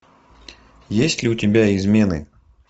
есть ли у тебя измены